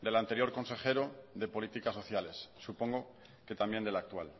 del anterior consejero de políticas sociales supongo que también del actual